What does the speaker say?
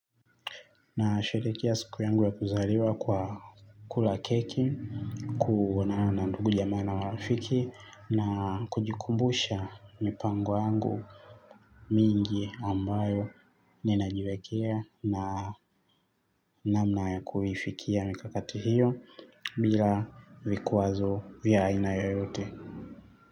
Na sherehekea siku yangu wa kuzaliwa kwa kula keki, kuonana na ndugu jamaa na marafiki na kujikumbusha mipango yangu mingi ambao ninajiwekea na namna ya kuifikia mikakati hiyo bila vikwazo vya aina yoyote.